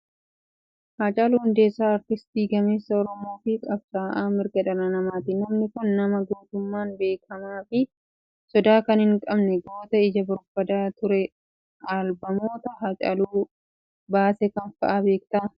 Hacaaluu Hundeessaa artistii gameessa oromoo fi qabsaa'aa mirga dhala namaati. Namni Kun nama gootummaan beekamaa fi sodaa kan hin qabne goota ija barbaadaa turee. Albamoota Hacaaluun baase kam fa'aa beektaa?